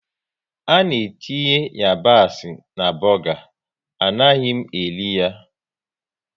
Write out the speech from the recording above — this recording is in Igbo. Ana etinye yabasị na buga, anaghị m eri ya